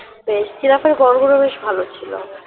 বেশ জিরাফের ঘরগুলো বেশ ভালো ছিল